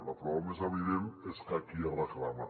la prova més evident és que aquí es reclama